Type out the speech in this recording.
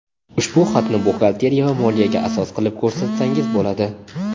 ushbu xatni buxgalteriya va moliyaga asos qilib ko‘rsatsangiz bo‘ladi!.